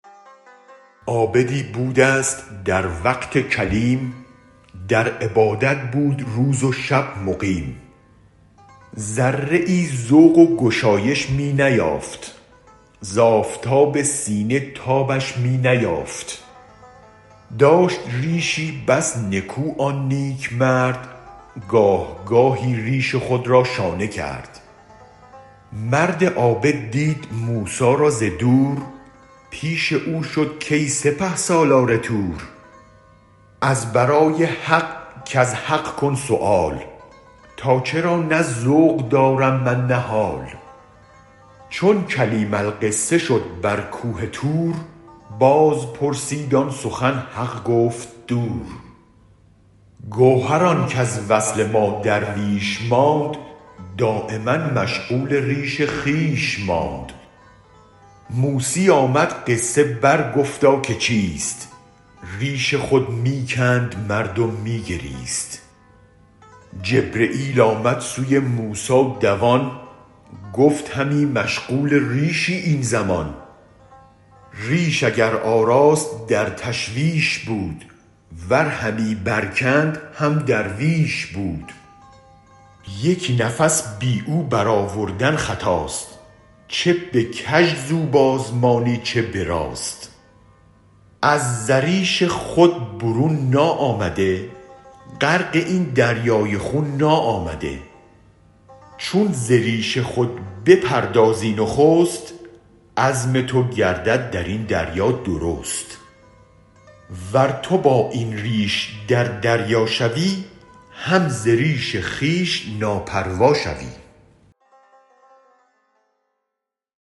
عابدی بودست در وقت کلیم در عبادت بود روز و شب مقیم ذره ای ذوق و گشایش می نیافت ز آفتاب سینه تابش می نیافت داشت ریشی بس نکو آن نیک مرد گاه گاهی ریش خود را شانه کرد مرد عابد دید موسی را ز دور پیش او شد کای سپه سالار طور از برای حق کز حق کن سؤال تا چرا نه ذوق دارم من نه حال چون کلیم القصه شد بر کوه طور بازپرسید آن سخن حق گفت دور گوهر آنک از وصل ما درویش ماند دایما مشغول ریش خویش ماند موسی آمد قصه بر گفتا که چیست ریش خود می کند مرد و می گریست جبرییل آمد سوی موسی دوان گفت همی مشغول ریشی این زمان ریش اگر آراست در تشویش بود ور همی برکند هم درویش بود یک نفس بی او برآوردن خطاست چه به کژ زو بازمانی چه به راست از زریش خود برون ناآمده غرق این دریای خون ناآمده چون ز ریش خود بپردازی نخست عزم تو گردد درین دریا درست ور تو بااین ریش در دریا شوی هم ز ریش خویش ناپروا شوی